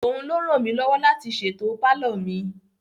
Òun ló ràn mí lọ́wọ́ láti ṣètò palọ mi.